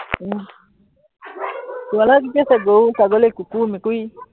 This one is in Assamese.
উম ঘৰত কি কি আছে, গৰু ছাগলী কুকুৰ মেকুৰী